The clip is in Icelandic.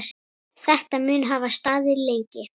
Hvað merkir stjarna þessi?